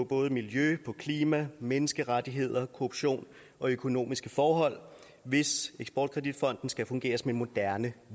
både miljø klima menneskerettigheder korruption og økonomiske forhold hvis eksport kredit fonden skal fungere som en moderne